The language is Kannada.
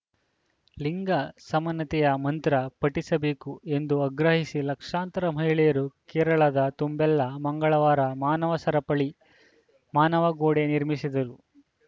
ಲಿಂಗ ಸಮಾನತೆಯ ಮಂತ್ರ ಪಠಿಸಬೇಕು ಎಂದು ಆಗ್ರಹಿಸಿ ಲಕ್ಷಾಂತರ ಮಹಿಳೆಯರು ಕೇರಳದ ತುಂಬೆಲ್ಲ ಮಂಗಳವಾರ ಮಾನವ ಸರಪಳಿ ಮಾನವ ಗೋಡೆ ನಿರ್ಮಿಸಿದರು